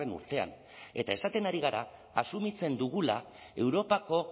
urtean eta esaten ari gara asumitzen dugula europako